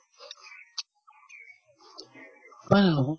হয়নে নহয়